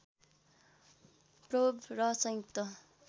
probe र संयुक्त